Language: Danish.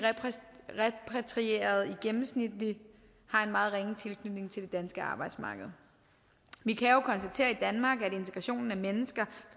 repatrierede i gennemsnit har en meget ringe tilknytning til det danske arbejdsmarked vi kan jo konstatere i danmark at integrationen af mennesker